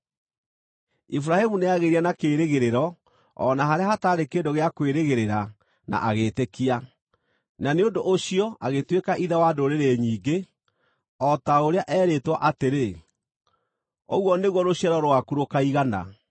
Iburahĩmu nĩagĩire na kĩĩrĩgĩrĩro o na harĩa hataarĩ kĩndũ gĩa kwĩrĩgĩrĩra na agĩĩtĩkia, na nĩ ũndũ ũcio agĩtuĩka ithe wa ndũrĩrĩ nyingĩ, o ta ũrĩa erĩtwo atĩrĩ, “Ũguo nĩguo rũciaro rwaku rũkaigana.”